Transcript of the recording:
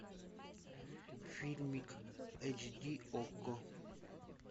фильмик эйч ди окко